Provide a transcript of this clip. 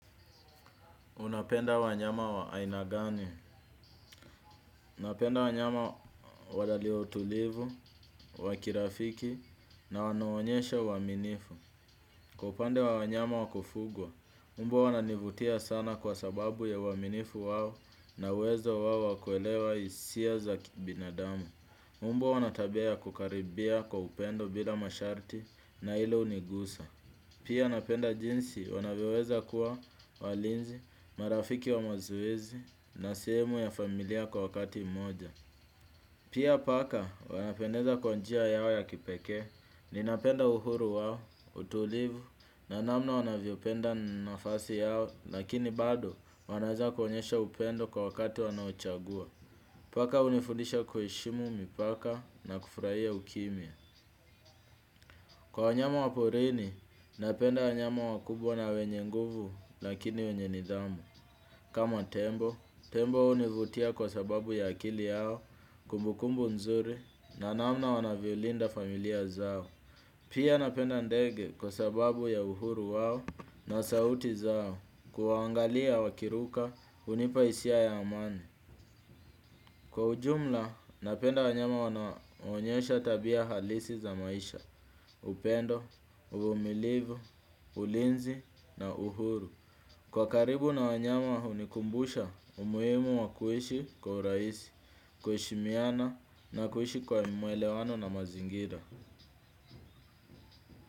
Unapenda wanyama wa aina gani. Unapenda wanyama walio tulivu, wa kirafiki na wanaonyesha uwaminifu. Kwa upande wa wanyama wakufugwa, mbwa wananivutia sana kwa sababu ya uwaminifu wao na uwezo wao wa kuelewa hisia za kibinadamu. Mbwa wanatabia ya kukaribia kwa upendo bila masharti na hilo unigusa. Pia napenda jinsi wanavyoweza kuwa walinzi, marafiki wa mazoezi na sehemu ya familia kwa wakati mmoja. Pia paka wanapendeza kwa njia yao ya kipekee, ninapenda uhuru wao, utulivu na namna wanavyopenda nafasi yao lakini bado wanaeza kuonyesha upendo kwa wakati wanaochagua. Paka unifundisha kuheshimu mipaka na kufurahia ukimya. Kwa wanyama waporini, napenda wanyama wakubwa na wenye nguvu lakini wenye nidhamu. Kama tembo, tembo univutia kwa sababu ya akili yao kumbukumbu nzuri na namna wanavyo linda familia zao. Pia napenda ndege kwa sababu ya uhuru wao na sauti zao kuwaangalia wakiruka hunipa hisia ya amani. Kwa ujumla, napenda wanyama wanaonyesha tabia halisi za maisha, upendo, uvumilivu, ulinzi na uhuru. Kwa karibu na wanyama hunikumbusha umuhimu wa kuishi kwa urahisi, kuheshimiana na kuhishi kwa mwelewano na mazingira.